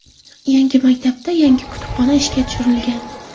Yangi maktabda yangi kutubxona ishga tushirilgan.